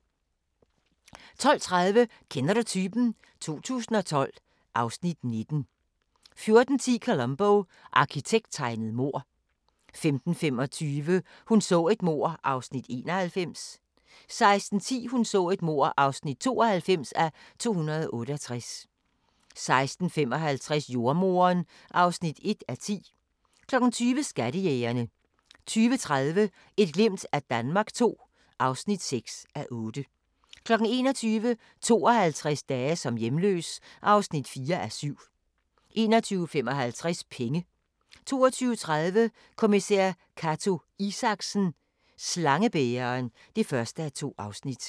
12:30: Kender du typen? 2012 (Afs. 19) 14:10: Columbo: Arkitekttegnet mord 15:25: Hun så et mord (91:268) 16:10: Hun så et mord (92:268) 16:55: Jordemoderen (1:10) 20:00: Skattejægerne 20:30: Et glimt af Danmark II (6:8) 21:00: 52 dage som hjemløs (4:7) 21:55: Penge 22:30: Kommissær Cato Isaksen: Slangebæreren (1:2)